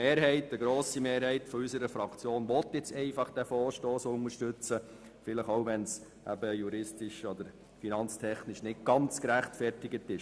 Eine grosse Mehrheit will diesen Vorstoss unterstützen, auch wenn das juristisch oder finanztechnisch nicht ganz gerechtfertigt ist.